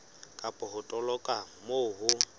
kapa ho toloka moo ho